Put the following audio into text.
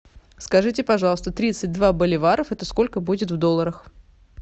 скажите пожалуйста тридцать два боливаров это сколько будет в долларах